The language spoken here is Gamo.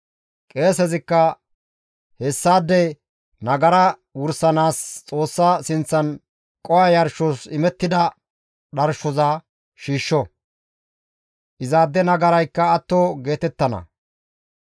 Qeesezikka hessaade nagara wursanaas Xoossa sinththan qoho yarshos imettida dharshoza shiishsho; izaade nagaraykka atto geetettana.